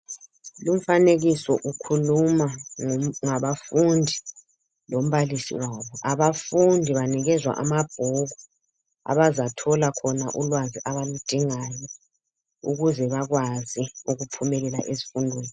Umfanekiso ukhuluma ngabafundi lombalisi wabo, abafundi banikezwa amabhuku abazathola ulwazi abaludingayo ukuze bakwazi ukuphumelela ezifundweni.